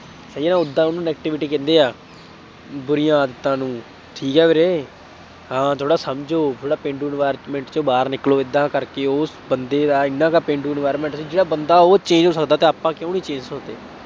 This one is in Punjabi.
ਉਏ ਯਾਰ ਉਦਾਂ ਉਹਨੂੰ negativity ਕਹਿੰਦੇ ਆਂ, ਬੁਰੀਆਂ ਆਦਤਾਂ ਨੂੰ, ਠੀਕ ਆ ਵੀਰੇ, ਹਾਂ ਥੋੜ੍ਹਾ ਸਮਝੋ, ਥੋੜ੍ਹਾ ਪੇਂਡੂ environment ਚੋਂ ਬਾਹਰ ਨਿਕਲੋ, ਏਦਾਂ ਕਰਕੇ ਉਸ ਬੰਦੇ ਦਾ ਐਨਾ ਕੁ ਪੇਂਡੂ environment ਜਿਹੜਾ ਬੰਦਾ ਉਹ change ਹੋ ਸਕਦਾ ਤਾਂ ਆਪਾਂ ਕਿਉਂ ਨਹੀਂ change ਹੋ ਸਕਦੇ।